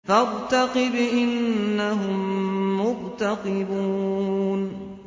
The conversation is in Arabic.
فَارْتَقِبْ إِنَّهُم مُّرْتَقِبُونَ